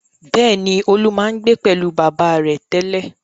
Bẹ́ẹ̀ni, Olú máa ń gbé pẹ̀lú bàbá rẹ̀ tẹ́lẹ̀.